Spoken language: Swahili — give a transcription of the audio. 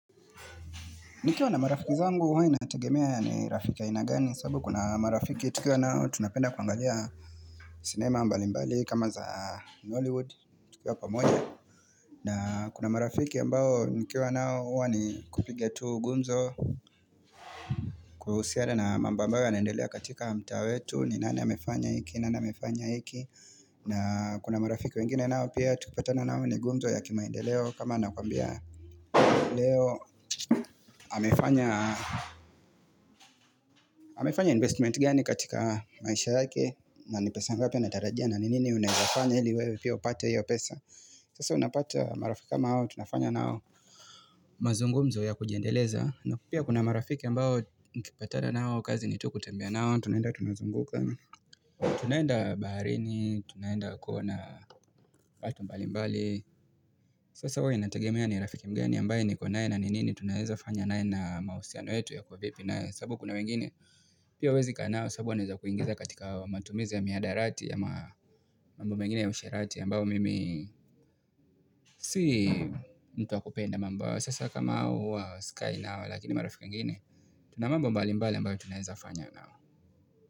Nikiwa na marafiki zangu huwa inategemea ni rafiki aina gani sababu kuna marafiki tukiwa nao tunapenda kuangalia cinema mbali mbali kama za Hollywood tukiwa pamoja na kuna marafiki ambao nikiwa nao uwa ni kupige tu gumzo kuhusiana na mambo ambao ya naendelea katika mta wetu ni nani amefanya hiki nana mefanya hiki na kuna marafiki wengine nao pia tukipatana nao ni gumzo ya kimandeleo kama anakwambia leo amefanya investment gani katika maisha yake na ni pesa ngapi anatarajia na ni nini unezafanya hili wewe pia upate hiyo pesa Sasa unapata marafiki kama hao tunafanya nao mazungumzo ya kujiendeleza na pia kuna marafiki ambao nikipatana nao kazi ni tu kutembea nao Tunaenda tunazunguka Tunaenda baharini, tunaenda kuona watu mbali mbali Sasa huwa inatagemea ni Rafiki mgani ambaye niko naye na ninini tunaeza fanya naye na mahusiano yetu yako vipi na sabu kuna wengine Pia huwezi kaa nao sababu wanaweza kuingiza katika matumizi ya mihadarati ya mambo mengine ya usherati ya ambayo mimi sii mtuwa kupenda mambao sasa kama hao huwa sikai nao lakini marafiki wengine tuna mambo mbali mbali ambao tunaeza fanya nao.